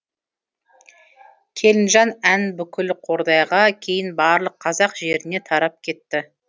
келінжан әні бүкіл қордайға кейін барлық қазақ жеріне тарап кетті